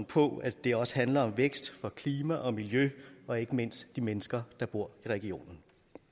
på at det også handler om vækst for klima og miljø og ikke mindst de mennesker der bor i regionen